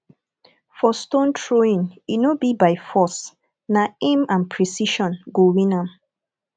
for stone throwing e no be by force na aim and precision go win am